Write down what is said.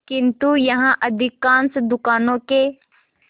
किंतु यहाँ अधिकांश दुकानों के